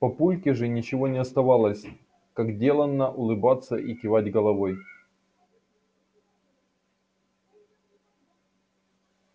папульке же ничего не оставалось как делано улыбаться и кивать головой